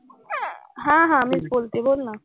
हां हां मीच बोलतेय. बोल ना.